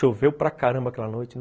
Choveu para caramba aquela noite.